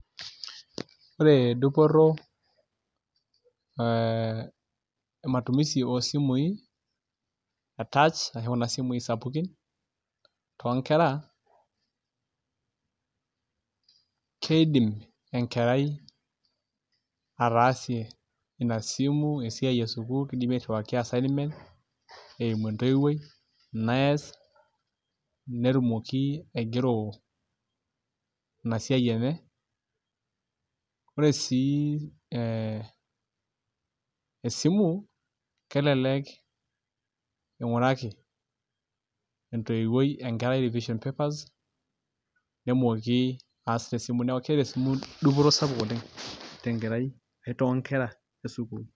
Ore dupoto ematumisi oosimui e touch ashu kuna simuui sapukin toonkera, kiindim enkerai ataasie ina simu esiai esukuul keji mairriwaki assignment eimu entoiwuoi nees netumoki aigero ina siai enye ore sii esimu kelelek ing'uraki entoiwuoi enkerai revision papers nemooki aas tesimu neeku keeta esimu dupoto sapuk oleng' tenkerai ashu toonkera esukuul.